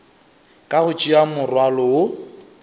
ka go tšea morwalo wo